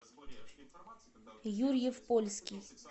юрьев польский